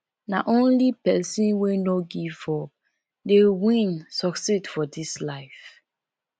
nah only pesin wey no give up dey win succeed for dis life